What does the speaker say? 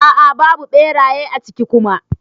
A'a babu beraye a ciki Kuma.